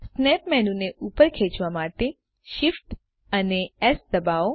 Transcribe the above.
snap menu ને ઉપર ખેચવા માટે Shift અને એસ દબાવો